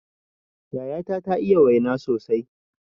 Yayata ta iya waina sosai